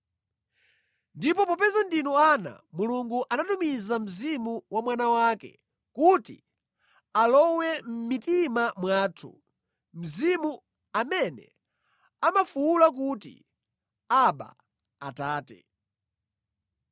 Ndipo popeza ndinu ana, Mulungu anatumiza Mzimu wa Mwana wake kuti alowe mʼmitima mwathu, Mzimu amene amafuwula kuti, “Abba, Atate.”